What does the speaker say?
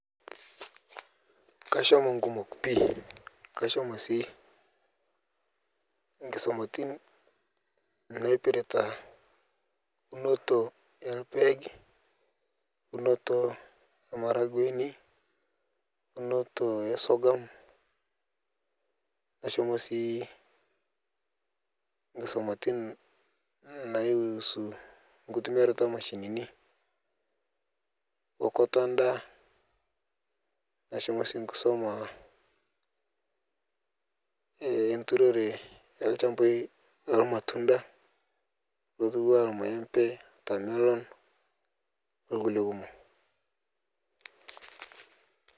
Kashomo nkumok pii kashomo sii enkisumatin naipirta eunoto orpaek eunoto e maragwenu, eunoto e sogum ashomo si nkisumatin naihusu nkituamiatroto omashinini ookoti endaa nashomo oshi enkisuma enturore olchambai lormatunda ,lornaenmbe ,watermelon onkulie kumok.